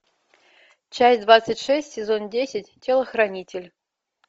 часть двадцать шесть сезон десять телохранитель